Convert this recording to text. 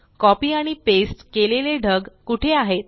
copy आणि paste केलेले ढग कुठे आहेत